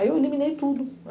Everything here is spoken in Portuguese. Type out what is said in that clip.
Aí eu eliminei tudo.